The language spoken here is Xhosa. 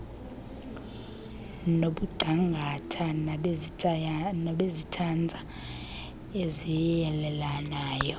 nongcangata banezitanza eziyeleleneyo